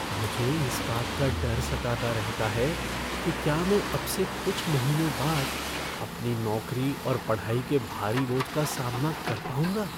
मुझे इस बात का डर सताता रहता है कि क्या मैं अब से कुछ महीने बाद अपनी नौकरी और पढ़ाई के भारी बोझ का सामना कर पाऊँगा।